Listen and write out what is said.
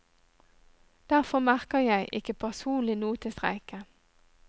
Derfor merker jeg ikke personlig noe til streiken.